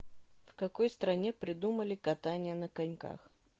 в какой стране придумали катание на коньках